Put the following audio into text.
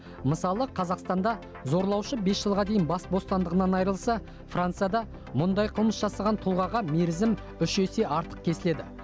мысалы қазақстанда зорлаушы бес жылға дейін бас бостандығынан айырылса францияда мұндай қылмыс жасаған тұлғаға мерзім үш есе артық кеседі